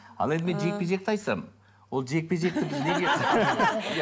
ал енді мен жекпе жекті айтсам ол жекпе жекті